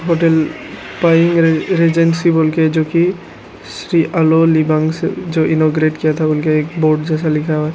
Hotel पाएंग regency बोल के जो कि श्री अलोलीबान से जो इनोग्रेट किया था उनके एक बोर्ड जैसा लिखा हुआ है।